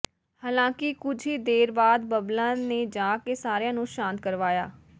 ਹਾਲਾਂਕਿ ਕੁਝ ਹੀ ਦੇਰ ਬਾਅਦ ਬਬਲਾ ਨੇ ਜਾ ਕੇ ਸਾਰਿਆਂ ਨੂੰ ਸ਼ਾਂਤ ਕਰਵਾਇਆ